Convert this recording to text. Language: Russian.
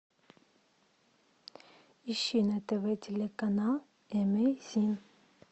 ищи на тв телеканал эмейзин